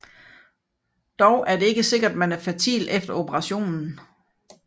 Dog er det ikke sikkert man er fertil efter operationen